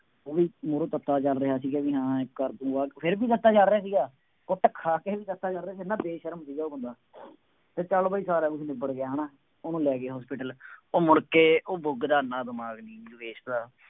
ਉਹ ਵੀ ਮੂਹਰੋਂ ਤੱਤਾ ਚੱਲ ਰਿਹਾ ਸੀਗਾ ਬਈ ਹਾਂ ਇਹ ਕਾਕੂ, ਫੇਰ ਵੀ ਤੱਤਾ ਚੱਲ ਰਿਹਾ ਸੀਗਾ, ਕੁੱਟ ਖਾ ਕੇ ਵੀ ਤੱਤਾ ਚੱਲ ਰਿਹਾ ਸੀ, ਐਨਾ ਬੇਸ਼ਰਮ ਸੀ ਉਹ ਮੁੰਡਾ ਅਤੇ ਚੱਲ ਬਈ ਸਾਰਾ ਕੁੱਛ ਨਿਬੜ ਗਿਆ ਹੈ ਨਾ, ਉਹਨੂੰ ਲੈ ਗਏ hospital ਉਹ ਮੁੜਕੇ ਉਹ ਰਿਮਾਂਡ ਰਿਮੂੰਡ ਪੇਸ਼ ਹੋਇਆ।